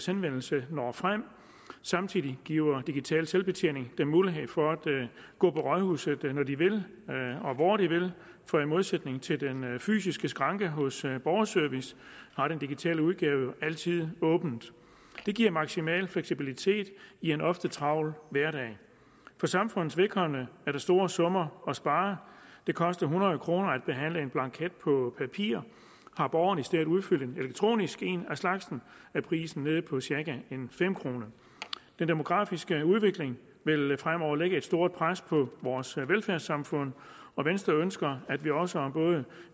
henvendelse når frem samtidig giver digital selvbetjening dem mulighed for at gå på rådhuset når de vil og hvor de vil for i modsætning til den fysiske skranke hos borgerservice har den digitale udgave altid åbent det giver maksimal fleksibilitet i en ofte travl hverdag for samfundets vedkommende er der store summer at spare det koster hundrede kroner at behandle en blanket på papir har borgeren i stedet udfyldt en elektronisk en af slagsen er prisen nede på cirka fem kroner den demografiske udvikling vil fremover lægge et stort pres på vores velfærdssamfund og venstre ønsker at vi også om både